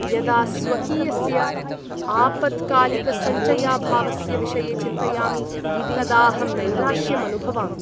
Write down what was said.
यदा स्वकीयस्य आपत्कालिकसञ्चयाभावस्य विषये चिन्तयामि तदा अहं नैराश्यम् अनुभवामि।